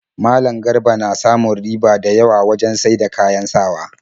Malam Garba na samun riba da yawa wajen saida kayan sawa